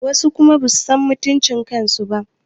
Wasu kuma basu san mutuncin kansu ba